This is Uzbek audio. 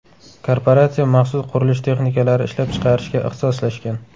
Korporatsiya maxsus qurilish texnikalari ishlab chiqarishga ixtisoslashgan.